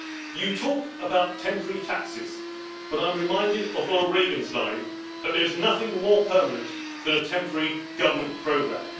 You talk about temporary taxes but I am reminded of Ronald Reagan's line that there is nothing more permanent than a temporary government programme.